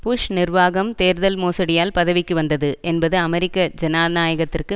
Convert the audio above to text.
push நிர்வாகம் தேர்தல் மோசடியால் பதவிக்கு வந்தது என்பது அமெரிக்க ஜனநாயகத்திற்கு